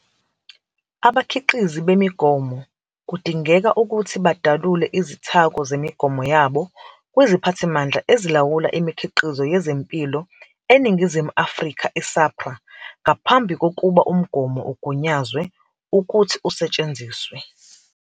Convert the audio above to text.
Abakhiqizi bemigomo kudingeka ukuthi badalule izithako zemigomo yabo kwiziPhathimandla Ezilawula Imikhiqizo Yeze mpilo eNingizimu Afrika, i-SAHPRA, ngaphambi kokuba umgomo ugunyazwe ukuthi usetshenziswe.